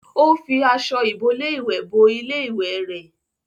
Ó fi aṣọ ìbolé ìwẹ̀ bo ilé ìwẹ rẹ̀